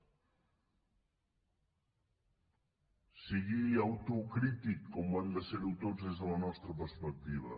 sigui autocrític com ho hem de ser tots des de la nostra perspectiva